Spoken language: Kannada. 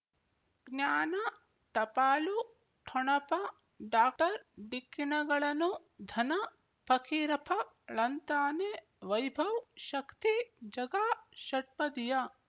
ಜ್ಞಾನ ಟಪಾಲು ಠೊಣಪ ಡಾಕ್ಟರ್ ಢಿಕ್ಕಿಣಗಳನು ಧನ ಫಕೀರಪ್ಪ ಳಂತಾನೆ ವೈಭವ್ ಶಕ್ತಿ ಝಗಾ ಷಟ್ಪದಿಯ